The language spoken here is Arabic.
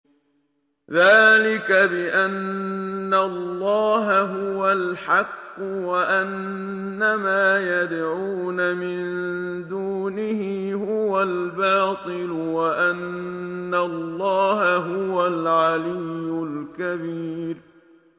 ذَٰلِكَ بِأَنَّ اللَّهَ هُوَ الْحَقُّ وَأَنَّ مَا يَدْعُونَ مِن دُونِهِ هُوَ الْبَاطِلُ وَأَنَّ اللَّهَ هُوَ الْعَلِيُّ الْكَبِيرُ